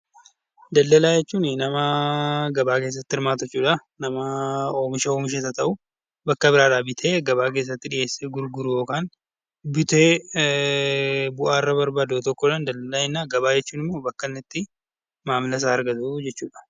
Daldalaa jechuun nama gabaa keessatti hirmaatu jechuudha. Nama oomisha oomishes haa ta'uu, bakka biraa bitee gabaa keessatti dhiheessee gurguru , bitee bu'aa irraa barbaadu tokko gabaa jechuun immoo bakka itti maamila isaa argatu jechuudha.